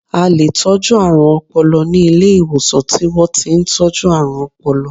A leè tọ̀jú àrùn ọpọlọ ni Ilé ìwòsàn ti wọ́n ti n tọ́jú àrùn ọpọlọ